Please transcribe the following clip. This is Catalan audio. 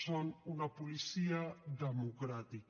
són una policia democràtica